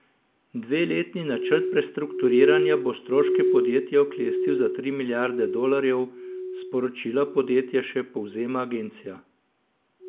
Dveletni načrt prestrukturiranja bo stroške podjetja oklestil za tri milijarde dolarjev, sporočilo podjetja še povezama agencija.